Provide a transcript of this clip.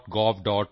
gov